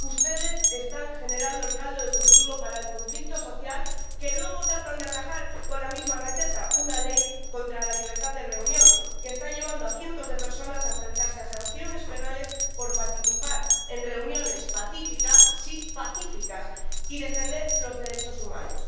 Ustedes están generando el caldo de cultivo para el conflicto social, que luego tratan de atajar con la misma receta una ley contra la libertad de reunión, que está llevando a cientos de personas a enfrentarse a sanciones penales por participar en reuniones pacíficas —sí, pacíficas— y defender los derechos humanos.